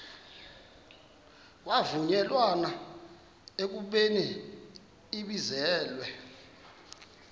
kwavunyelwana ekubeni ibizelwe